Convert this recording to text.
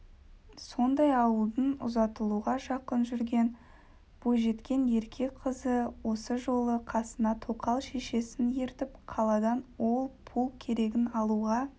сондай ауылдың ұзатылуға жақын жүрген бойжеткен ерке қызы осы жолы қасына тоқал шешесін ертіп қаладан ол-пұл керегін алуға